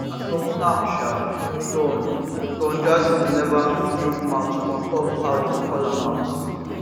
as of now sha don don jazzy neva chook mouth on top how dem call am out